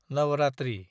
Navratri